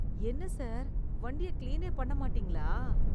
என்ன சார் வண்டிய கிளீனே பண்ண மாட்டீங்களா?